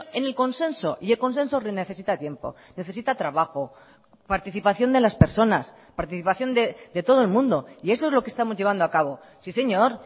en el consenso y el consenso necesita tiempo necesita trabajo participación de las personas participación de todo el mundo y eso es lo que estamos llevando a cabo sí señor